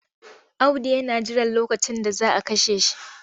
Audu yana jiran lokacin da za a kashe shi.